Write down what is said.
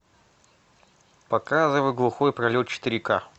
показывай глухой пролет четыре ка